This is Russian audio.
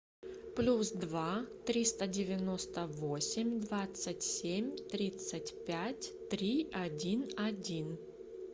плюс два триста девяносто восемь двадцать семь тридцать пять три один один